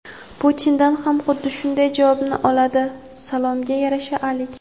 Putindan ham xuddi shunday javobni oladi – salomga yarasha alik.